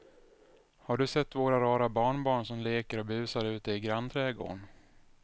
Har du sett våra rara barnbarn som leker och busar ute i grannträdgården!